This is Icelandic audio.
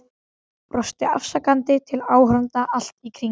Brosti afsakandi til áhorfenda allt í kring.